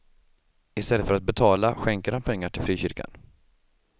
I stället för att betala skänker han pengar till frikyrkan.